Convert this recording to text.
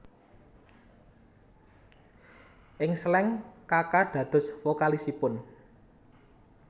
Ing Slank Kaka dados vokalisipun